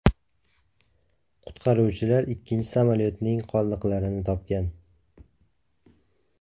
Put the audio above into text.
Qutqaruvchilar ikkinchi samolyotning qoldiqlarini topgan.